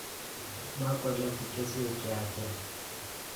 Makwale chi keswek che yachen